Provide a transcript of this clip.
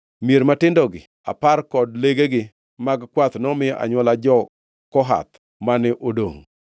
Mier matindogi apar kod legegi mag kwath nomi anywola jo-Kohath mane odongʼ.